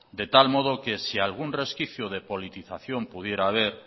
de tal modo que si algún resquicio de politización pudiera haber